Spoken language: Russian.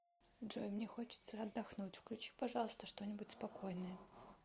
джой мне хочется отдохнуть включи пожалуйста что нибудь спокойное